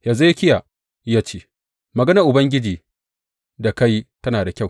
Hezekiya ya ce, Maganar Ubangiji da ka yi tana da kyau.